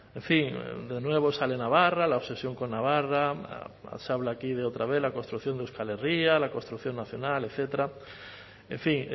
en fin de nuevo sale navarra la obsesión con navarra se habla aquí de otra vez la construcción de euskal herria la construcción nacional etcétera en fin